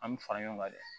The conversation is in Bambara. An bɛ fara ɲɔgɔn kan dɛ